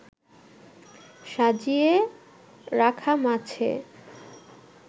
সাজিয়ে রাখা মাছে